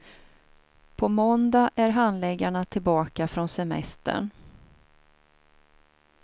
På måndag är handläggarna tillbaka från semestern.